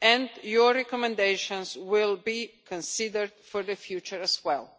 and your recommendations will be considered for the future as well.